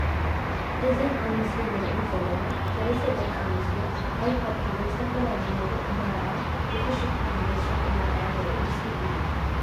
እዘን ኣብ ምስሊ እንሪአን ዘለና ሰለስተ ደቂ ኣንስትዮ ኣይ ፓድ ሒዘን ዝተፈላለየ ነገር እንዳረኣያ ብፍሽኽታን ብደስታን እንዳረኣያ ዘርኢ ምስሊ እዩ።